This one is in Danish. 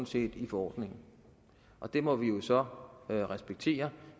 set i forordningen og det må vi jo så respektere